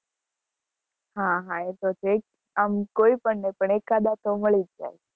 હા હા એતો છે જ આમ કોઈ પણ નહિ એકાદા તો મળી જ જાય.